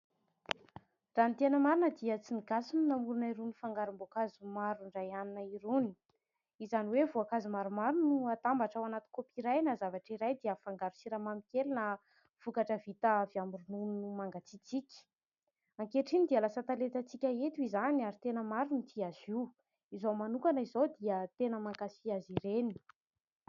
Raha ny tena marina dia tsy ny gasy no namorona irony fangarom-boankazo maro indray hanina irony ; izany hoe voankazo maromaro no atambatra ao anaty kaopy iray na zavatra iray dia afangaro siramamy kely na vokatra vita avy amin'ny ronono mangatsiatsiaka. Ankehitriny dia lasa talentatsika eto izany ary tena maro ny tia azy io izao manokana izao dia tena mankafy azy ireny.